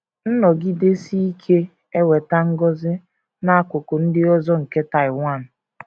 Nnọgidesi Ike Eweta Ngọzi n’Akụkụ Ndị Ọzọ nke Taiwan